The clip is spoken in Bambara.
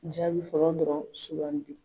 jaabi fɔlɔ dɔrɔn sugandi.